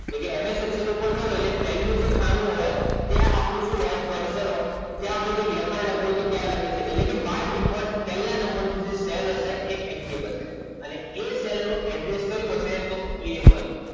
એટલે MS Excel કરો છો એટલે પહેલું જે ખાનુ હોય એ આપણું શું હોય ત્યાં આપણે લખાણ લખવું હોય એ લખી શકે છે એટલે કે by default પહેલા નંબરનું જે cell હશે એ active હશે અને એ cell નો average કયુ હસે તો a one